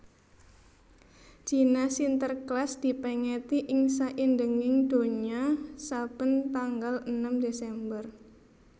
Dina Sinterklas dipèngeti ing saindenging donya saben tanggal enem Desember